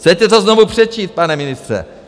Chcete to znovu přečíst, pane ministře?